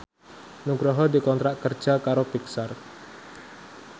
Nugroho dikontrak kerja karo Pixar